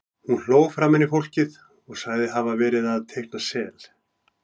Hún hló framan í fólkið og sagðist hafa verið að teikna sel.